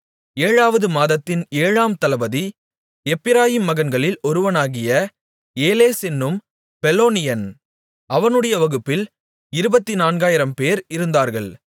ஏழாவது மாதத்தின் ஏழாம் தளபதி எப்பிராயீம் மகன்களில் ஒருவனாகிய ஏலேஸ் என்னும் பெலோனியன் அவனுடைய வகுப்பில் இருபத்துநான்காயிரம்பேர் இருந்தார்கள்